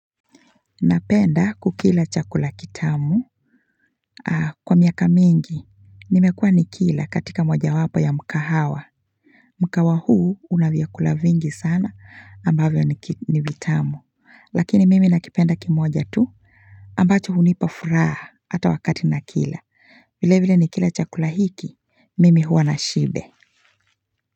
Napenda kukila chakula kitamu kwa miaka mingi nimekua nikila katika moja wapo ya mkahawa Mkahawa huu una vyakula vingi sana ambavyo ni vitamu lakini mimi nakipenda kimoja tu ambacho hunipa furaha hata wakati nakila vile vile nikila chakula hiki mimi huwa na shibe.